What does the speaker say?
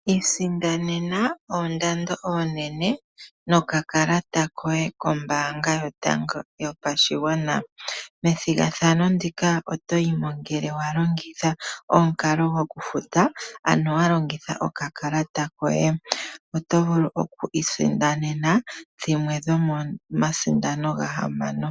Isindanena oondando oonene nokakalata koye kombaanga yotango yopashigwana methigathano ndika otoyimo ngele wa longitha omukalo gokufuta ano wa longitha okakalata koye oto vulu oku isindanena dhimwe dhomomasindano gahamano